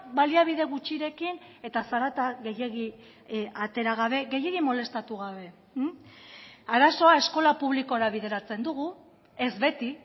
baliabide gutxirekin eta zarata gehiegi atera gabe gehiegi molestatu gabe arazoa eskola publikora bideratzen dugu ez beti